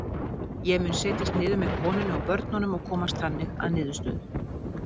Ég mun setjast niður með konunni og börnunum og komast þannig að niðurstöðu.